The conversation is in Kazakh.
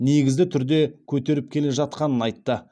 негізді түрде көтеріп келе жатқанын айтты